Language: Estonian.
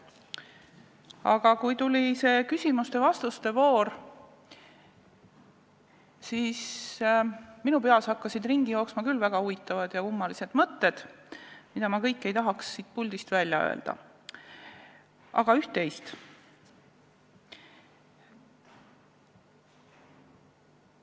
Aga kui tuli küsimuste ja vastuste voor, siis hakkasid minu peas ringi jooksma küll väga huvitavad ja kummalised mõtted, mida ma kõike ei tahaks siit puldist välja öelda, aga üht-teist siiski.